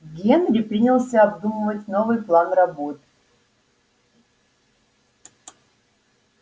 генри принялся обдумывать новый план работ